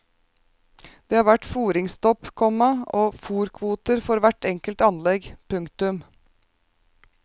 Det har vært fòringsstopp, komma og fòrkvoter for hvert enkelt anlegg. punktum